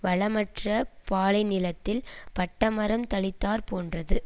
வளமற்ற பாலைநிலத்தில் பட்டமரம் தளிர்த்தாற் போன்றது